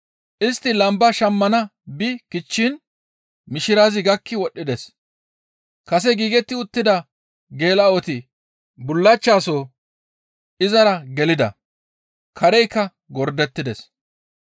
Istti lamba shammana bi kichchiin mishirazi gakki wodhdhides. Kase giigetti uttida geela7oti bullachchaso izara gelida; kareykka gordettides.